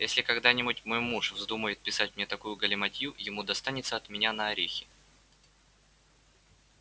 если когда-нибудь мой муж вздумает писать мне такую галиматью ему достанется от меня на орехи